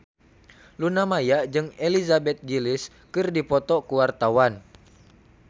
Luna Maya jeung Elizabeth Gillies keur dipoto ku wartawan